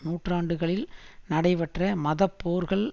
நூற்றாண்டுகளில் நடைபெற்ற மதப்போர்கள்